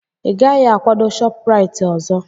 Ị gaghị akwado Shopuraiti ọzọ!